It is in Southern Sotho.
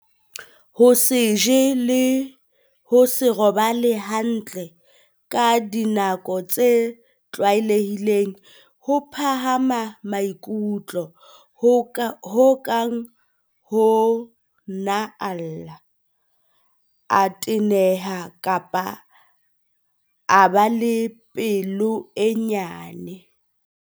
Ho se je le ho se robale hantle ka dinako tse tlwae lehileng. Ho phahama maikutlo ho kang ho nna a lla, a teneha kapa a ba pelo e nyane.